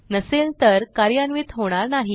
नसेल तर कार्यान्वित होणार नाही